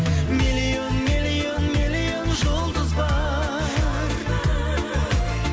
миллион миллион миллион жұлдыз бар